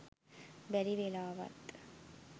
බැරි වෙලාවත්